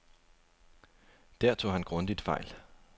Der tog han grundigt fejl.